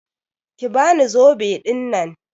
Ki bani zobe ɗinnan.